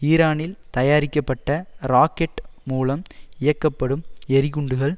ஈரானில் தயாரிக்கப்பட்ட ராக்கெட் மூலம் இயக்கப்படும் எறிகுண்டுகள்